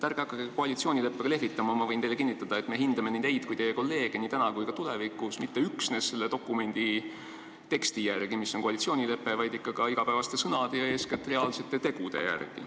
Ärge hakake koalitsioonileppega lehvitama, ma võin teile kinnitada, et me hindame nii teid kui teie kolleege nii täna kui ka tulevikus mitte üksnes koalitsioonileppe teksti järgi, vaid ikka igapäevaste sõnade järgi ja eeskätt reaalsete tegude järgi.